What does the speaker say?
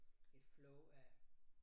Et flow af